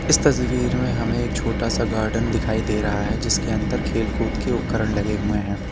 इस तस्वीर में हमें एक छोटा सा गार्डन दिखाई दे रहा है जिसके अंदर खेल-कूद के उपकरण लगे हुए हैं।